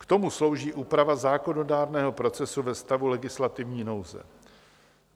K tomu slouží úprava zákonodárného procesu ve stavu legislativní nouze.